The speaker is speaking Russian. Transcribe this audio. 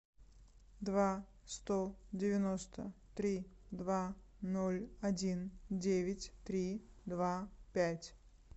два сто девяносто три два ноль один девять три два пять